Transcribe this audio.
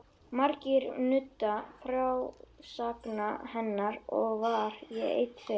Margir nutu frásagna hennar og var ég einn þeirra.